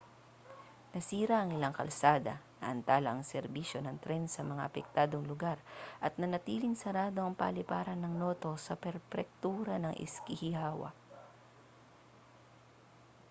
nasira ang ilang kalsada naantala ang serbisyo ng tren sa mga apektadong lugar at nananatiling sarado ang paliparan ng noto sa prepektura ng ishikawa